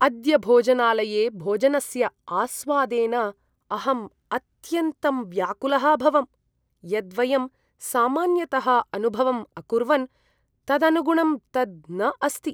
अद्य भोजनालये भोजनस्य आस्वादेन अहम् अत्यन्तं व्याकुलः अभवम्। यद् वयं सामान्यतः अनुभवम् अकुर्वन् तदनुगुणं तद् न अस्ति।